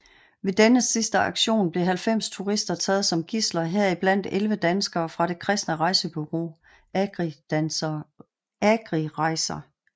Ved denne sidste aktion blev 90 turister taget som gidsler heriblandt 11 danskere fra det kristne rejsebureau Agri Rejser